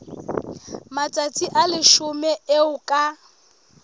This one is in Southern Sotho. matsatsi a leshome eo ka